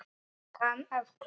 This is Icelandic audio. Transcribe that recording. Kann að klóra.